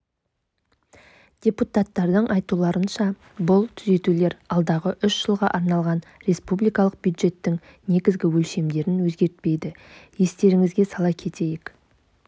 депутаттардың айтуларынша бұл түзетулер алдағы үш жылға арналған республикалық бюджеттің негізгі өлшемдерін өзгертпейді естеріңізге сала кетейік